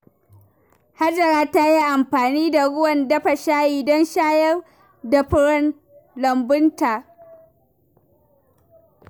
Hajara ta yi amfani da ruwan dafa shayi don shayar da furen lambunta.